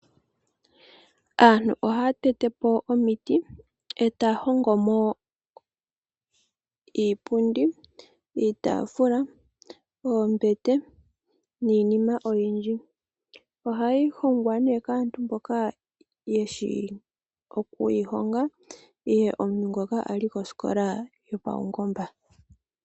Aantu ohaa tete po omiti e taa hongo mo iipundi, iitaafula, oombete niinima oyindji. Ohayi hongwa kaantu mboka ye shi oku yi honga nenge omuntu ngoka a li koskola yopaungomba.